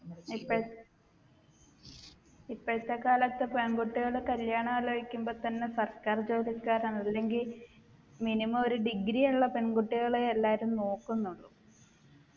ഇപ്പഴ് ഇപ്പഴത്തെ കാലത്തെ പെൺകുട്ടികൾ കല്യാണം ആലോചിക്കുമ്പോ തന്നെ സർക്കാർ ജോലിക്കാരാണ് അല്ലെങ്കിൽ minimum ഒരു degree ഉള്ള പെൺകുട്ടികളെ എല്ലാരും നോക്കുന്നുള്ളു